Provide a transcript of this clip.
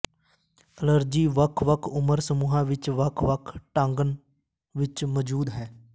allergy ਵੱਖ ਵੱਖ ਉਮਰ ਸਮੂਹਾਂ ਵਿੱਚ ਵੱਖ ਵੱਖ ਢੰਗਾਂ ਵਿੱਚ ਮੌਜੂਦ ਹੈ